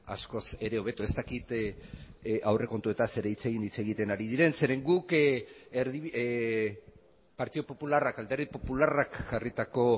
askoz ere hobeto ez dakit aurrekontuetaz ere hitz egin hitz egiten ari diren zeren guk partidu popularrak alderdi popularrak jarritako